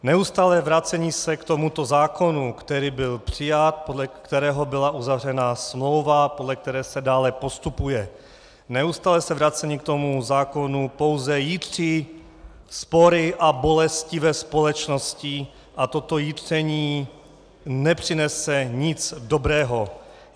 Neustálé vracení se k tomuto zákonu, který byl přijat, podle kterého byla uzavřena smlouva, podle které se dále postupuje, neustálé se vracení k tomuto zákonu pouze jitří spory a bolesti ve společnosti a toto jitření nepřinese nic dobrého.